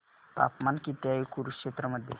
तापमान किती आहे कुरुक्षेत्र मध्ये